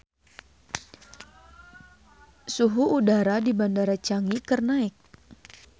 Suhu udara di Bandara Changi keur naek